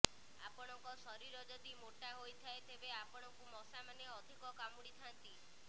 ଆପଣଙ୍କ ଶରୀର ଯଦି ମୋଟା ହୋଇଥାଏ ତେବେ ଆପଣଙ୍କୁ ମଶାମାନେ ଅଧିକ କାମୁଡିଥାନ୍ତି